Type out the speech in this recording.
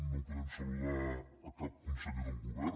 no podem saludar cap conseller del govern